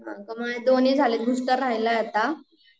हो का, माझे दोन्ही झालेत बुस्टर राहीलाय आता